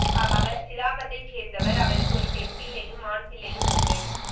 அவர் சிலாபத்தை சேர்ந்தவர் அவருக்கு ஒரு பெண் பிள்ளையும் ஆண் பிள்ளையும் உண்டு